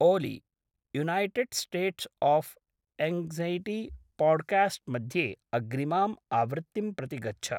Oli, United States of anxiety podcast मध्ये अग्रिमाम् आवृत्तिं प्रति गच्छ।